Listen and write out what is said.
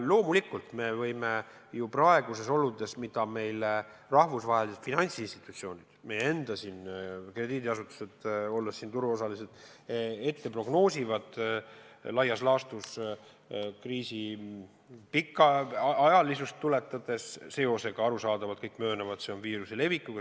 Loomulikult on praegused olud sellised, et rahvusvahelised finantsinstitutsioonid ja meie enda krediidiasutused, olles turuosalised, prognoosivad laias laastus kriisi pikaajalisust seoses arusaadavalt viiruse levikuga.